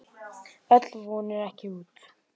Öll von er ekki úti.